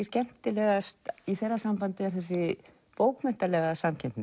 skemmtilegast í þeirra sambandi er þessi bókmenntalega samkeppni